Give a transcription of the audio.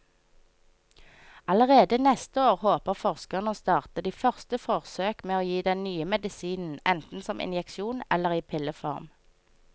Allerede neste år håper forskerne å starte de første forsøk med å gi den nye medisinen enten som injeksjon eller i pilleform.